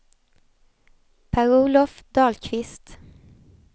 Per-Olof Dahlqvist